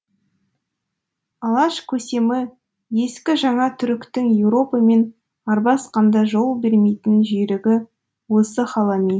алаш көсемі ескі жаңа түріктің еуропамен арбасқанда жол бермейтін жүйрігі осы халами